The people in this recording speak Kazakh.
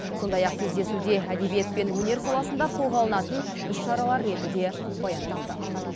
сондай ақ кездесуде әдебиет пен өнер саласында қолға алынатын іс шаралар реті де баяндалды